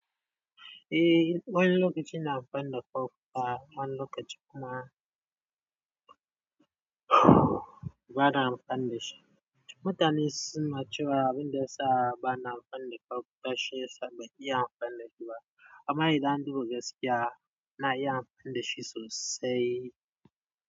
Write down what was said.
Eh, wani lokaci ina amfani da kofta wani lokaci kuma ba na amfani dashi. Mutane sun cewa abinda yasa ba na amfani kofta shiyasa ban iya amfani da shi ba. Amma idan an duba gaskiya na iya amfani dashi sosai.